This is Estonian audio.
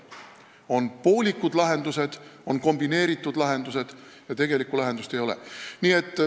On poolikud lahendused, on kombineeritud lahendused, aga tegelikku lahendust ei ole.